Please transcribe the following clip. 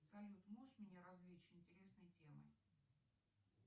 салют можешь меня развлечь интересной темой